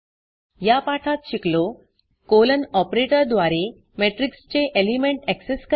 या पाठात शिकलो colonकोलन ऑपरेटरद्वारे matrixमेट्रिक्स चे एलिमेंट accessआक्सेस करणे